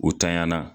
O tanyana